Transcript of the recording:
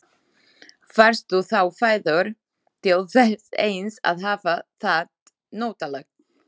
Varstu þá fæddur til þess eins að hafa það notalegt?